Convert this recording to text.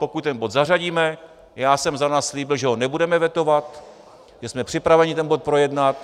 Pokud ten bod zařadíme, já jsem za nás slíbil, že ho nebudeme vetovat, že jsme připraveni ten bod projednat.